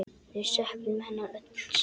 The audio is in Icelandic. Við söknum hennar öll sárt.